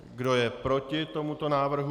Kdo je proti tomuto návrhu?